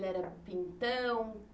Ele era pintão?